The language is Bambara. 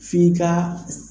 F'i ka.